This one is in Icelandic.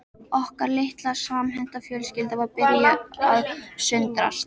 Okkar litla og samhenta fjölskylda var að byrja að sundrast